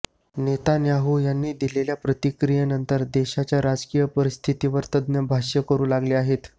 Netanyahu यांनी दिलेल्या प्रतिक्रियेनंतर देशाच्या राजकीय परिस्थितीवर तज्ज्ञ भाष्य करू लागले आहेत